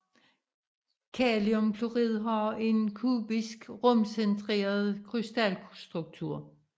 Kaliumklorid har en kubisk rumcentreret krystalstruktur